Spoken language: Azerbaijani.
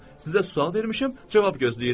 Sizə sual vermişəm, cavab gözləyirəm.